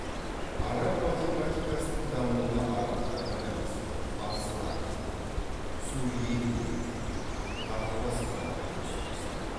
араб математикасының дамуына арабтар ғана емес парсылар сүриянилер тағы басқалар үлес қосты